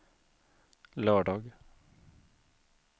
lördag